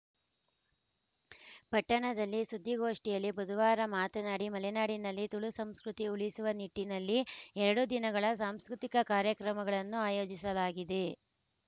ಪಟ್ಟಣದಲ್ಲಿ ಸುದ್ದಿಗೋಷ್ಠಿಯಲ್ಲಿ ಬುಧವಾರ ಮಾತನಾಡಿ ಮಲೆನಾಡಿನಲ್ಲಿ ತುಳು ಸಂಸ್ಕೃತಿ ಉಳಿಸುವ ನಿಟ್ಟಿನಲ್ಲಿ ಎರಡು ದಿನಗಳ ಸಾಂಸ್ಕೃತಿಕ ಕಾರ್ಯಕ್ರಮಗಳನ್ನು ಆಯೋಜಿಸಲಾಗಿದೆ